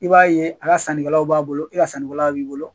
I b'a ye a ka sanni kɛlaw b'a bolo i ka sanni kɛlaw b'i bolo.